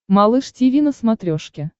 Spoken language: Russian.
малыш тиви на смотрешке